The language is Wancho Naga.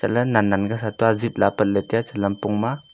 la nan nan ka kailua ajip lah ley apat ley tai a lampong ma.